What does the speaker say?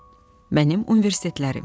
Mənim Universitetlərim.